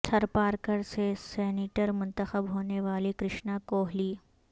تھر پارکر سے سینیٹر منتخب ہونے والی کرشنا کوہلی